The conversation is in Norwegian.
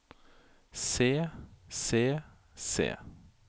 se se se